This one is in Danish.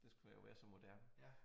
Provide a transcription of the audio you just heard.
Det skulle jo være så moderne